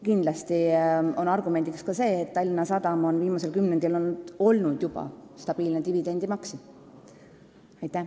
Kindlasti on argument ka see, et Tallinna Sadam on viimasel kümnendil olnud stabiilne dividendimaksja.